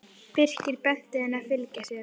Birkir benti henni að fylgja sér.